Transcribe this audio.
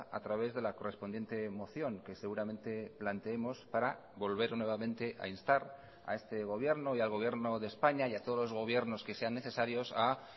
a través de la correspondiente moción que seguramente planteemos para volver nuevamente a instar a este gobierno y al gobierno de españa y a todos los gobiernos que sean necesarios a